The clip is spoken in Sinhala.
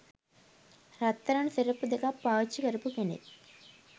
රත්තරන් සෙරෙප්පු දෙකක් පාවිච්චි කරපු කෙනෙක්.